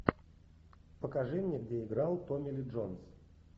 покажи мне где играл томми ли джонс